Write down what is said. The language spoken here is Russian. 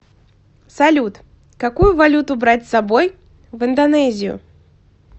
салют какую валюту брать с собой в индонезию